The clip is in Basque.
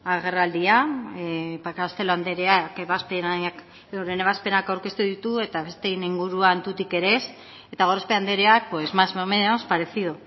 agerraldia ba castelo andreak euren ebazpenak aurkeztu ditu eta besteen inguruan tutik ere ez eta gorospe andreak pues más o menos parecido